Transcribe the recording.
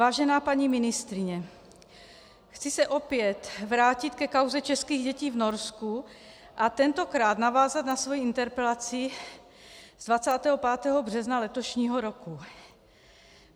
Vážená paní ministryně, chci se opět vrátit ke kauze českých dětí v Norsku a tentokrát navázat na svoji interpelaci z 25. března letošního roku.